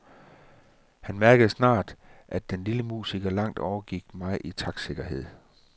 Han mærkede snart, at den lille musiker langt overgik mig i taktsikkerhed.